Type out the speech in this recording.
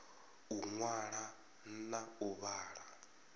u ṅwala na u vhala